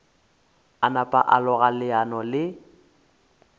napa a loga leano le